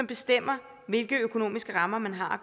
bestemmer hvilke økonomiske rammer man har